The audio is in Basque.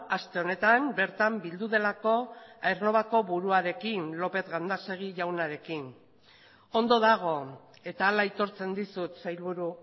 aste honetan bertan bildu delako aernnovako buruarekin lópez gandásegui jaunarekin ondo dago eta hala aitortzen dizut sailburu